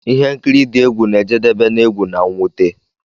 Ihe nkiri dị egwu na-ejedebe n'egwu na mwute.